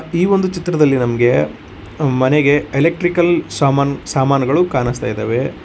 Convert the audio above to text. ಈ ಒಂದು ಚಿತ್ರದಲ್ಲಿ ನಮಗೆ ಮನೆಗೆ ಎಲೆಕ್ಟ್ರಿಕಲ್ ಸಾಮಾನ್ ಸಾಮಾನುಗಳು ಕಾಣಿಸ್ತಾ ಇದಾವೆ.